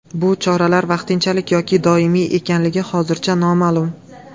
Bu choralar vaqtinchalik yoki doimiy ekanligi hozircha noma’lum.